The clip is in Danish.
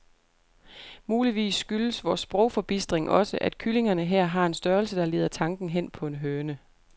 Muligvis skyldes vor sprogforbistring også, at kyllingerne her har en størrelse, der leder tanken hen på en høne.